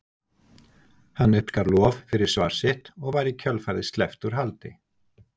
Hann uppskar lof fyrir svar sitt og var í kjölfarið sleppt úr haldi.